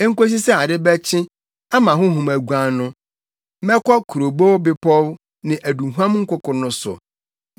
Enkosi sɛ ade bɛkye, ama honhom aguan no, mɛkɔ kurobow bepɔw ne aduhuam nkoko no so.